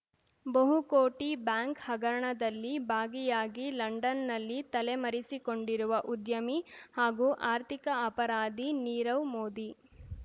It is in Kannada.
ಬಹುಕೋಟಿ ಬ್ಯಾಂಕ್ ಹಗರಣದಲ್ಲಿ ಭಾಗಿಯಾಗಿ ಲಂಡನ್‌ನಲ್ಲಿ ತಲೆಮರೆಸಿಕೊಂಡಿರುವ ಉದ್ಯಮಿ ಹಾಗೂ ಆರ್ಥಿಕ ಅಪರಾಧಿ ನೀರವ್ ಮೋದಿ